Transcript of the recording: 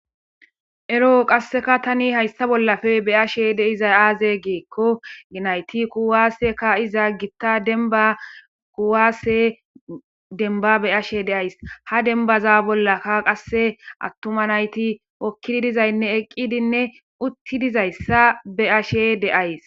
Ero qaseka ta haysa bollappe betashe dizay aze giko nayti kuwase ka'iza gitta demba kuwase demba beyashe de'aysi ha dembaza bollaka qase attuma nayti eqidi dizayne hokidi dizay eqidinne utti dizaysa beyashe de'aysi